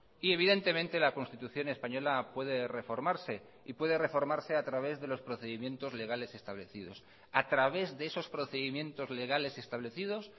y evidentemente la constitución española puede reformarse y puede reformarse a través de los procedimientos legales establecidos a través de esos procedimientos legales establecidos